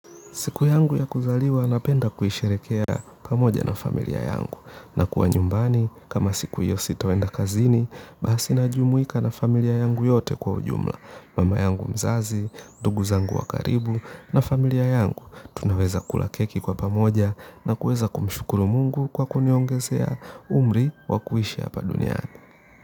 Siku yangu ya kuzaliwa napenda kuisherehekea pamoja na familia yangu na kuwa nyumbani kama siku hiyo sitaenda kazini basi najumuika na familia yangu yote kwa ujumla. Mama yangu mzazi, ndugu zangu wa karibu na familia yangu tunaweza kula keki kwa pamoja na kuweza kumshukuru mungu kwa kuniongezea umri wa kuishi hapa duniani.